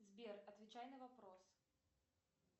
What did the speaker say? сбер отвечай на вопрос